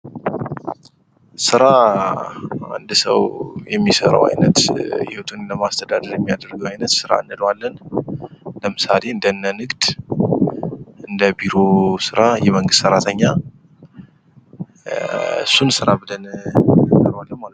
ስራ አንድ ሰው የሚሰራው አይነት ህይወቱን ለማስተዳደር የሚያደርገው አይነት ስራ እንለዋለን። ለምሳሌ እንደነ ንግድ እንደ ቢሮ ስራ የመንግስት ሰራተኛ እሱን ስራ ብለን እንጠረዋለን ማለት ነው።